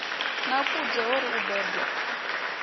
nakudze ho ri u bebwa